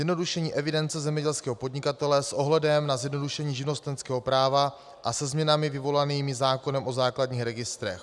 Zjednodušení evidence zemědělského podnikatele s ohledem na zjednodušení živnostenského práva a se změnami vyvolanými zákonem o základních registrech.